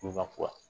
Tubabu